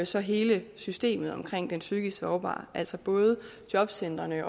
så hele systemet omkring den psykisk sårbare altså både jobcentrene